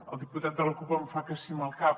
el diputat de la cup em fa que sí amb el cap